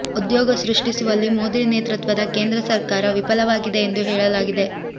ಉದ್ಯೋಗ ಸೃಷ್ಟಿಸುವಲ್ಲಿ ಮೋದಿ ನೇತೃತ್ವದ ಕೇಂದ್ರ ಸರ್ಕಾರ ವಿಫಲವಾಗಿದೆ ಎಂದು ಹೇಳಲಾಗಿದೆ